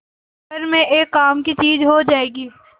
घर में एक काम की चीज हो जाएगी